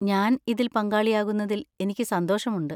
ഞാൻ ഇതിൽ പങ്കാളിയാകുന്നതിൽ എനിക്ക് സന്തോഷമുണ്ട്.